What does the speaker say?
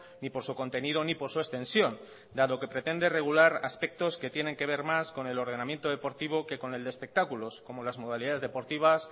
ni por su contenido ni por su extensión dado que pretende regular aspectos que tienen que ver más con el ordenamiento deportivo que con el de espectáculos como las modalidades deportivas